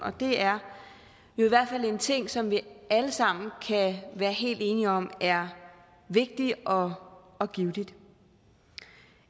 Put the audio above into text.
det er jo i hvert fald en ting som vi alle sammen kan være helt enige om er vigtig og og givtig